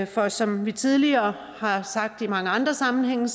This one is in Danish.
for som vi tidligere har sagt i mange andre sammenhænge